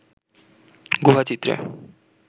গুহা চিত্রে